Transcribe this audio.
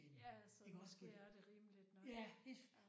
Ja ja så måske er det rimeligt nok